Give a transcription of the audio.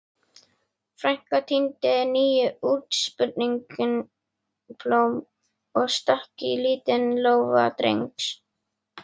Frænka tíndi nýútsprungin blóm og stakk í lítinn lófa Drengs.